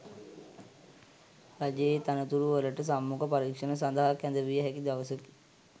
රජයේ තනතුරුවලට සම්මුඛ පරීක්ෂණ සඳහා කැඳවිය හැකි දවසකි.